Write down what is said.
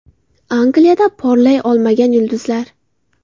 Angliyada porlay olmagan yulduzlar .